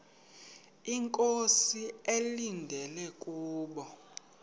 inkosi ekulindele kubo